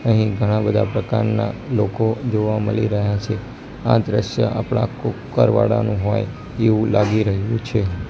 અહીં ઘણા બધા પ્રકારના લોકો જોવા મલી રહ્યા છે આ દ્રશ્ય આપણા કુકર વાળાનું હોય એવું લાગી રહ્યું છે.